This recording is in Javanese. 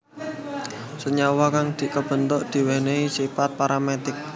Senyawa kang kabentuk duweni sipat paramagnetik